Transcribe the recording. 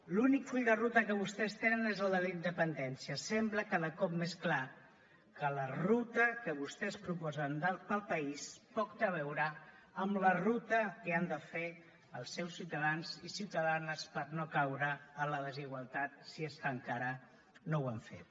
l’únic full de ruta que vostès tenen és el de la independència sembla cada cop més clar que la ruta que vostès proposen per al país poc té a veure amb la ruta que han de fer els seus ciutadans i ciutadanes per no caure en la desigualtat si és que encara no ho han fet